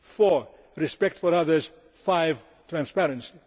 four respect for others five transparency.